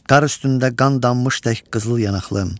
Qar üstündə qan dammış tək qızıl yanaqlım.